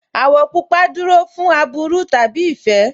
Àwọ̀ pupa dúró fún aburú tàbí ìfẹ́